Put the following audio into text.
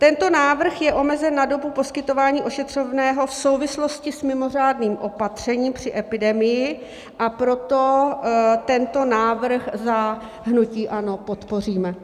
Tento návrh je omezen na dobu poskytování ošetřovného v souvislosti s mimořádným opatřením při epidemii, a proto tento návrh za hnutí ANO podpoříme.